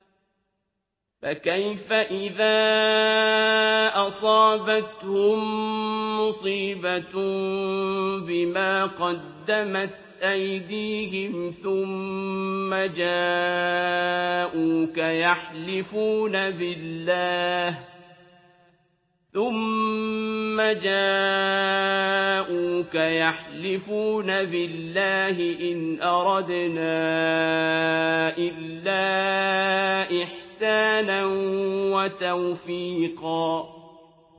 فَكَيْفَ إِذَا أَصَابَتْهُم مُّصِيبَةٌ بِمَا قَدَّمَتْ أَيْدِيهِمْ ثُمَّ جَاءُوكَ يَحْلِفُونَ بِاللَّهِ إِنْ أَرَدْنَا إِلَّا إِحْسَانًا وَتَوْفِيقًا